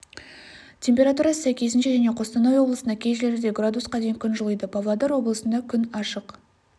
температурасы сәйкесінше және қостанай облысында кей жерлерде градусқа дейін күн жылиды павлодар облысында күн ашық